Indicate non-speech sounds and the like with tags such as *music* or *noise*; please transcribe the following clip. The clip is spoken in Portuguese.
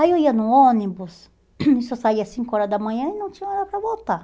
Aí eu ia no ônibus, *coughs* só saía às cinco horas da manhã e não tinha hora para voltar.